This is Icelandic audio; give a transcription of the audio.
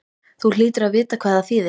Þú hlýtur að vita hvað það þýðir?